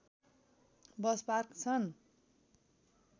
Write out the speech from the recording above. bus park छन्